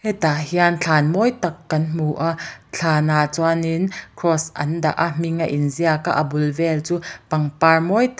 hetah hian thlan mawi tak kan hmu a thlan ah chuanin cross an dah a hming a inziak a bul vel chu pangpar mawi tak--